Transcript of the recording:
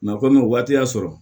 kɔmi waati y'a sɔrɔ